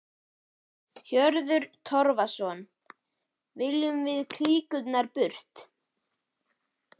Hörður Torfason: Viljum við klíkurnar burt?